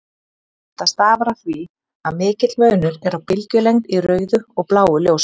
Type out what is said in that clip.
Þetta stafar af því að mikill munur er á bylgjulengd í rauðu og bláu ljósi.